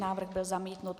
Návrh byl zamítnut.